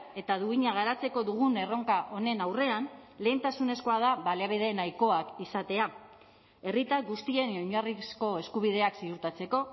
eta duina garatzeko dugun erronka honen aurrean lehentasunezkoa da baliabide nahikoak izatea herritar guztien oinarrizko eskubideak ziurtatzeko